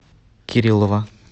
кириллова